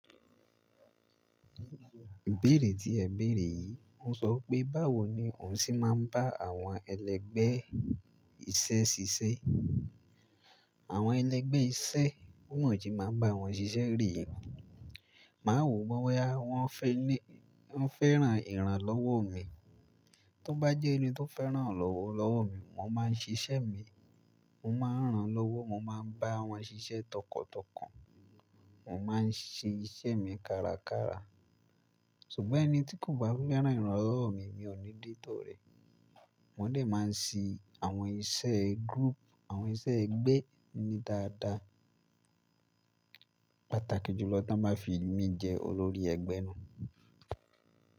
Ìbéèrè tí ẹ béèrè yìí, ó sọ pé báwo ni òun ṣe máa ń bá àwọn ẹlẹgbẹ́ iṣẹ́ ṣiṣẹ́. Àwọn ẹlẹgbẹ́ iṣẹ́ kùnàjí máa ń bá àwọn ṣiṣẹ́ rì nìyí. Màá wò wọ́n boya, wọ́n fẹ́ràn ìran lọ́wọ́ mi. Tó bá jẹ́ ẹni tó fẹ́ràn ìran lọ́wọ́ mi, mo máa ń ṣiṣẹ́ mi, mo máa ń ran lọ́wọ́, mo máa ń bá wọn ṣiṣẹ́ tọkàntọkàn, mo máa ń ṣe iṣẹ́ mi kárakára. Ṣùgbọ́n ẹni tí kò bá fẹ́ràn ìran lọ́wọ́ mi, mi ò ní dé tọ̀ rẹ̀. Wọ́n lè máa ń ṣì àwọn iṣẹ́ group, àwọn iṣẹ́ ẹgbẹ́ ní dáadáa. Pàtàkì jùlọ tí wọ́n bá fi mí jẹ olórí ẹgbẹ́ náà.